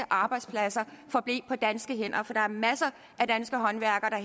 arbejdspladser forblev på danske hænder for der er masser af danske håndværkere der